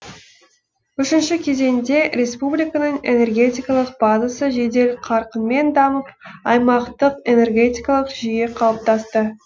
үшінші кезеңде республиканың энергетикалық базасы жедел қарқынмен дамып аймақтық энергетикалық жүйе қалыптасты